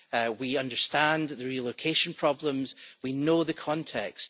We understand the relocation problems and we know the context.